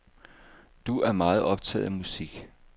Du er meget optaget af musik.